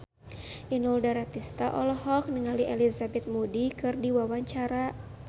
Inul Daratista olohok ningali Elizabeth Moody keur diwawancara